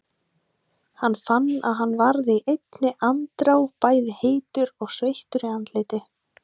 Hann fann að hann varð í einni andrá bæði heitur og sveittur í andliti.